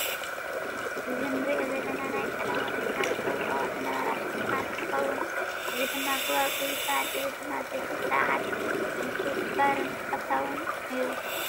እዚ እንሪኦ ዘለና ናይ ቀደም ወለድና ዝገብርኦ ዝነበራ ሽልማት እንትከውን እዚ ድማ ጉባጉብ ይባሃል። እዚ ድማ በቲ ሰዓት ንሱ ክባርን ተፈታዊን ነይሩ።